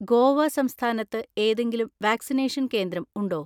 ഗോവ സംസ്ഥാനത്ത് ഏതെങ്കിലും വാക്സിനേഷൻ കേന്ദ്രം ഉണ്ടോ?